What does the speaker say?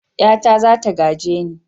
Ƴata za ta gaje ni.